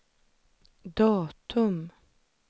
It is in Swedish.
datum